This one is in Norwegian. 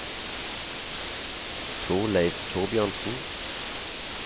Torleiv Thorbjørnsen